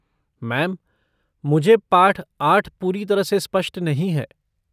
Ma'am, मुझे पाठ आठ पूरी तरह से स्पष्ट नहीं है।